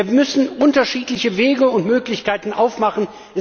Wir müssen unterschiedliche Wege und Möglichkeiten aufmachen.